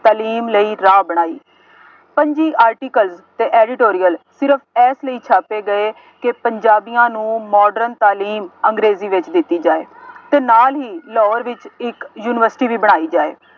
ਤਾਲੀਮ ਲਈ ਰਾਹ ਬਣਾਈ। ਪੰਜੀ article ਅਤੇ editorial ਸਿਰਫ ਇਸ ਲਈ ਛਾਪੇ ਗਏ ਕਿ ਪੰਜਾਬੀਆਂ ਨੂੰ modern ਤਾਲੀਮ ਅੰਗਰੇਜ਼ੀ ਵਿੱਚ ਦਿੱਤੀ ਜਾਏ ਅਤੇ ਨਾਲ ਹੀ ਲਾਹੌਰ ਵਿੱਚ ਇੱਕ ਯੂਨੀਵਰਸਿਟੀ ਵੀ ਬਣਾਈ ਜਾਏ।